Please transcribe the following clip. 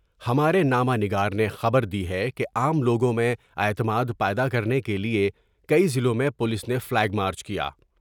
ہمارے نامہ نگار نے خبر دی ہے کہ عام لوگوں میں اعتماد پیدا کرنے کے لئے کئی ضلعوں میں پولیس نے فلیگ مارچ کیا ۔